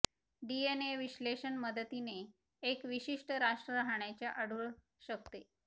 DNA विश्लेषण मदतीने एक विशिष्ट राष्ट्र राहण्याचे आढळू शकते